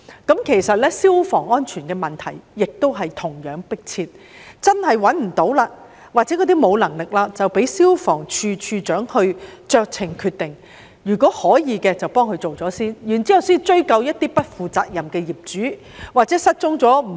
事實上，消防安全問題同樣迫切，倘若真的無法找到相關業主，又或部分業主沒有能力，便應讓消防處處長酌情決定，在可行情況下先替業主處理問題，然後才追究不負責任、失蹤、過世的業主。